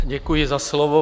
Děkuji za slovo.